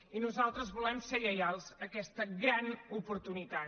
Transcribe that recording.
i nosaltres volem ser lleials a aquesta gran oportunitat